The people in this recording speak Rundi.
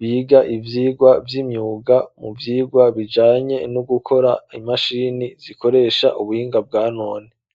biga ivyigwa vy'imyuga mu vyigwa bijanye no gukora imashini zikoresha ubuhinga bwa none